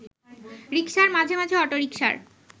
রিকশার, মাঝে মাঝে অটোরিকশার